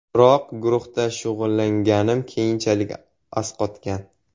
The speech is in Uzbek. Biroq guruhda shug‘ullanganim keyinchalik asqatgan.